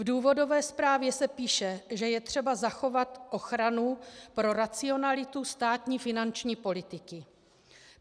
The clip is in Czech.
V důvodové zprávě se píše, že je třeba zachovat ochranu pro racionalitu státní finanční politiky.